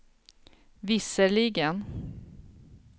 visserligen